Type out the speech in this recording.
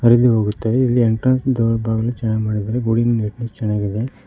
ಹರಿದುಹೋಗುತ್ತವೆ ಇಲ್ಲಿ ಎಂಟ್ರನ್ಸ್ ಚೆನ್ನಾಗ್ ಮಾಡಿದ್ದಾರೆ ನೀಟ್ನೆಸ್ ಚೆನ್ನಾಗಿದೆ.